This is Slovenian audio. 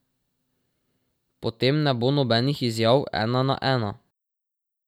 Potem ne bo nobenih izjav ena na ena.